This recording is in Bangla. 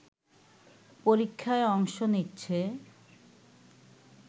পরীক্ষায় অংশ নিচ্ছে